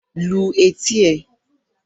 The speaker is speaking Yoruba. Lu etí ẹ!